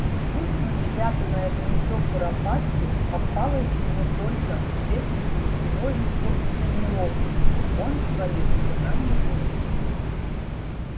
искусно спрятанное гнездо куропатки попалось ему только вследствии его же собственной неловкости он свалился на него